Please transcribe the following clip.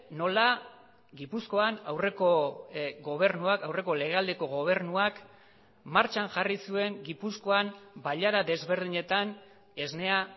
nola gipuzkoan aurreko gobernuak aurreko legealdiko gobernuak martxan jarri zuen gipuzkoan bailara desberdinetan esnea